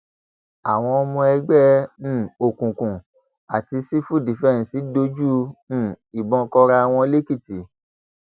àwọn ọmọ ẹgbẹ um òkùnkùn àti sífù fífẹǹsì dojú um ìbọn kóra wọn lẹkìtì